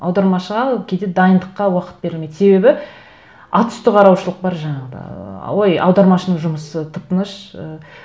аудармашыға кейде дайындыққа уақыт берілмейді себебі атүсті қараушылық бар жаңағыдай ой аудармашының жұмысы тып тыныш ы